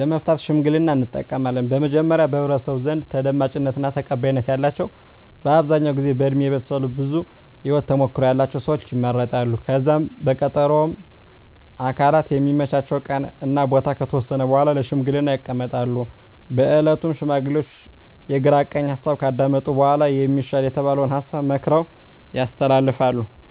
ለመፍታት ሽምግልናን እንጠቀማለን። በመጀመሪያ በህብረተሰቡ ዘንድ ተደማጭነት እና ተቀባይነት ያላቸው በአብዛኛው ጊዜ በእድሜ የበሰሉ ብዙ የህወት ተሞክሮ ያለቸው ሰወች ይመረጣሉ። ከዛም በቀጠሮ ሁምም አካላት የሚመቻቸውን ቀን እና ቦታ ከተወሰነ በኃላ ለሽምግልና ይቀመጣሉ። በእለቱም ሽማግሌዎቹ የግራ ቀኝ ሀሳብ ካዳመጡ በኃላ የሚሻል የተባለውን ሀሳብ መክረው ያስተላልፋሉ።